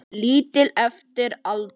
Lítill eftir aldri.